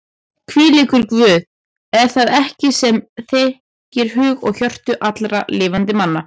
Hvílíkur Guð er það ekki sem þekkir hug og hjörtu allra lifandi manna?